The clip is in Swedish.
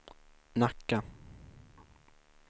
Nacka